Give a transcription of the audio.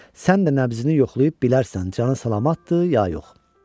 Sən də nəbzini yoxlayıb bilərsən canı salamatdır, ya yox.